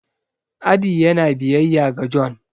adi yana biyayya ga John